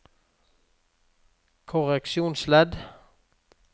korreksjonsledd